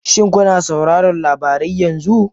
Shin kuna sauraron labarai yanzu?